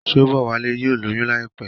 Shobowale yóò lóyún láìpé.